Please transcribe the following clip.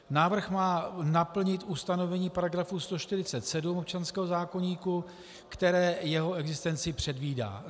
Návrh má naplnit ustanovení § 147 občanského zákoníku, které jeho existenci předvídá.